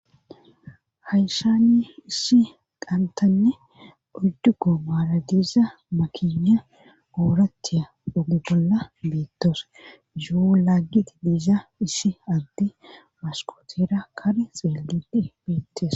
Hayshani issi qantanne ojjugo maaradiiza makina ooratiya ogi bolla beettos yuu laaggi di diiza issi adde maskotera kar xeellide beettes.